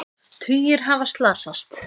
Tugir hafa slasast